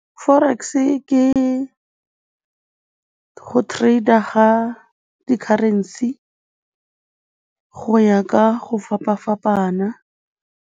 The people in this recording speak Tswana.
Forex-e ke go trader ga di-currency go ya ka go fapa-fapana.